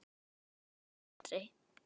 Nú eða aldrei.